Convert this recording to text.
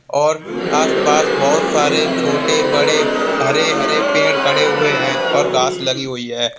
और आस पास बहुत सारे छोटे बड़े हरे हरे पेड़ खड़े हुए हैं और घास लगी हुई है।